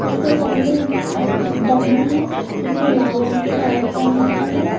इसके सामने आ डम्मी है जिसने लाल रंग कि शल्ट पहनी हुई है।